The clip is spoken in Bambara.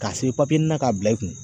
K'a sɛbɛn k'a bila i kun.